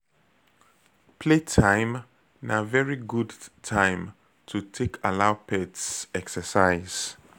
Playtime na very good time to take allow pets exercise